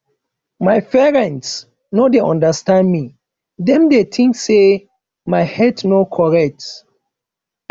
my parents no dey understand me dem dey think say my head no correct